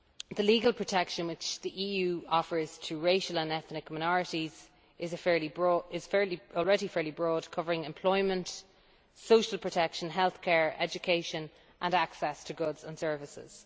The legal protection which the EU offers to racial and ethnic minorities is already fairly broad, covering employment, social protection, healthcare, education and access to goods and services.